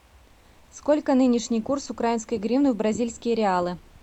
сколько нынешний курс украинской гривны в бразильские реалы